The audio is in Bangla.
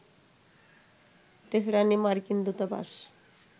তেহরানে মার্কিন দূতাবাস